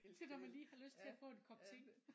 Til når man lige har lyst til at få en kop te